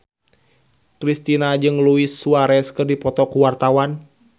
Kristina jeung Luis Suarez keur dipoto ku wartawan